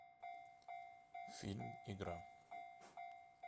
фильм игра